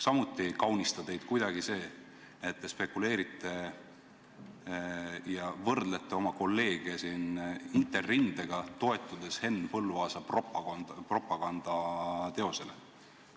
Samuti ei kaunista teid kuidagi see, et te spekuleerite ja võrdlete oma kolleege siin Interrindega, toetudes Henn Põlluaasa propagandateosele.